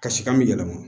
Kasikan bɛ yɛlɛma